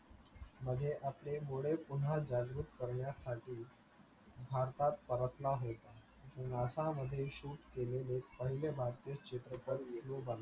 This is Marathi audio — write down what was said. मध्ये आपले घोडे पुन्हा जागृत करण्यासाठी भारतात परतला होता. NASA मध्ये shoot केलेलं पहिले भारतीय चित्रपट